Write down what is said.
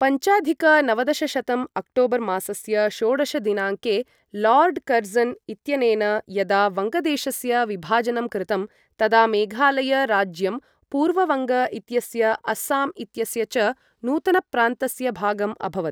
पञ्चाधिक नवदशशतं अक्टोबर् मासस्य षोडश दिनाङ्के लार्ड् कर्ज़न् इत्यनेन यदा वङ्गदेशस्य विभाजनं कृतं, तदा मेघालय राज्यं पूर्ववङ्ग इत्यस्य अस्साम् इत्यस्य च नूतनप्रान्तस्य भागम् अभवत्।